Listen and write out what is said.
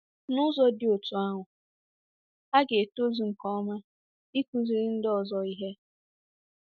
N’ụzọ dị otú ahụ, ha ga-etozu nke ọma ịkụziri ndị ọzọ ihe. ”